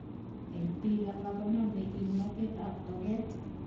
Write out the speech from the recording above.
Eng piik alak koname kimnatet ap toket